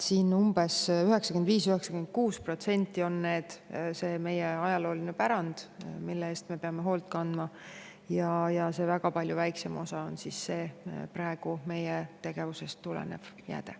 Umbes 95–96% on see meie ajalooline pärand, mille eest me peame hoolt kandma, ja väga palju väiksem osa on praegu meie tegevusest tulenev jääde.